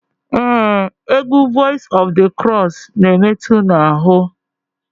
Ee egwu Voice of the Cross n'emetu n'ahụ.